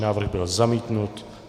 Návrh byl zamítnut.